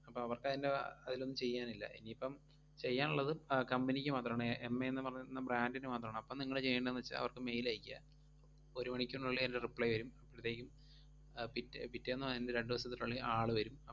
അപ്പം അവർക്കതിൻറെ അഹ് അയിലൊന്നും ചെയ്യാനില്ല. ഇനിയിപ്പം ചെയ്യാനൊള്ളത് ആ company ക്ക് മാത്രമാണ് ഏർ എം എ പറഞ്ഞിട്ട് brand ന് മാത്രാണ്. അപ്പം നിങ്ങള് ചെയ്യേണ്ടേന്നു വെച്ചാ അവർക്ക് mail അയക്കുക. ഒരു മണിക്കൂറിനുള്ളിൽ അതിൻറെ reply വെരും. ആഹ് പിറ്റേ~ പിറ്റേന്നോ അതിൻറെ രണ്ടു ദിവസത്തിനുള്ളിൽ ആള് വെരും.